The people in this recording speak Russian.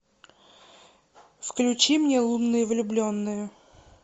включи мне лунные влюбленные